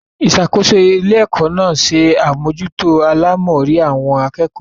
Ìṣàkóso ilé-ẹ̀kọ́ náà se àmójútó àlámọrí àwọn akẹ́kọ̀ọ́.